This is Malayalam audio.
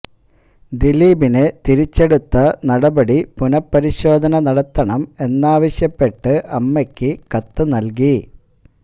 ദിലീപിനെ തിരിച്ചെടുത്ത നടപടി പുനപരിശോധന നടത്തണം എന്നാവശ്യപ്പെട്ട് അമ്മയ്ക്ക് കത്ത് നല്കി